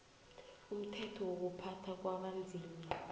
umthetho wokuphathwa kwabanzima